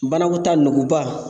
Banakɔtaa nuguba.